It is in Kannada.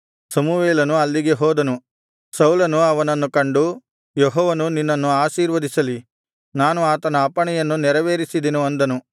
ಸಮುವೇಲನು ಅಲ್ಲಿಗೆ ಹೋದನು ಸೌಲನು ಅವನನ್ನು ಕಂಡು ಯೆಹೋವನು ನಿನ್ನನ್ನು ಆಶೀರ್ವದಿಸಲಿ ನಾನು ಆತನ ಅಪ್ಪಣೆಯನ್ನು ನೆರವೇರಿಸಿದೆನು ಅಂದನು